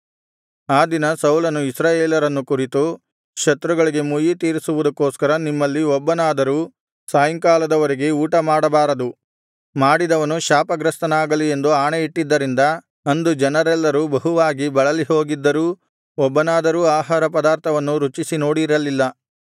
ಆ ದಿನ ಸೌಲನು ಇಸ್ರಾಯೇಲರನ್ನು ಕುರಿತು ಶತ್ರುಗಳಿಗೆ ಮುಯ್ಯಿತೀರಿಸುವುದಕ್ಕೋಸ್ಕರ ನಿಮ್ಮಲ್ಲಿ ಒಬ್ಬನಾದರೂ ಸಾಯಂಕಾಲದವರೆಗೆ ಊಟಮಾಡಬಾರದು ಮಾಡಿದವನು ಶಾಪಗ್ರಸ್ತನಾಗಲಿ ಎಂದು ಆಣೆಯಿಟ್ಟಿದ್ದರಿಂದ ಅಂದು ಅವರೆಲ್ಲರೂ ಬಹುವಾಗಿ ಬಳಲಿಹೋಗಿದ್ದರೂ ಒಬ್ಬನಾದರೂ ಆಹಾರ ಪಧಾರ್ಥವನ್ನು ರುಚಿಸಿ ನೋಡಿರಲಿಲ್ಲ